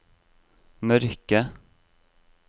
mørke